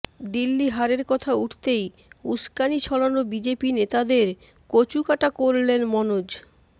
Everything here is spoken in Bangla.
দিল্লি হারের কথা উঠতেই উস্কানি ছড়ানো বিজেপি নেতাদের কচুকাটা করলেন মনোজ